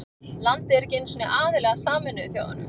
Landið er ekki einu sinni aðili að Sameinuðu þjóðunum.